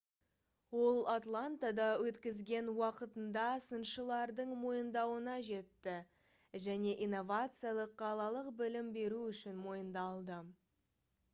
ол атлантада өткізген уақытында сыншылардың мойындауына жетті және инновациялық қалалық білім беру үшін мойындалды